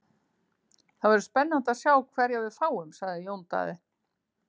Það verður spennandi að sjá hverja við fáum, sagði Jón Daði.